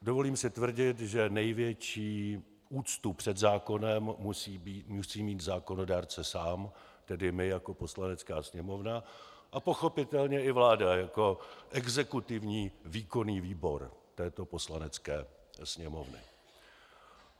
Dovolím si tvrdit, že největší úctu před zákonem musí mít zákonodárce sám, tedy my jako Poslanecká sněmovna, a pochopitelně i vláda jako exekutivní výkonný výbor této Poslanecké sněmovny.